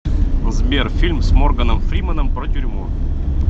сбер фильм с морганом фриманом про тюрьму